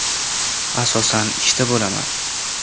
Asosan ishda bo‘laman.